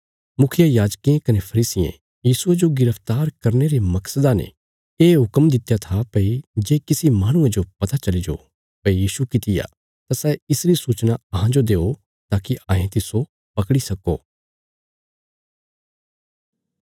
मुखियायाजकें कने फरीसियें यीशुये जो गिरफ्तार करने रे मकसदा ने ये हुक्म दित्या था भई जे किसी माहणुये जो पता चली जो भई यीशु किति आ तां सै इसरी सूचना अहांजो देओ ताकि अहें तिस्सो पकड़ी सक्को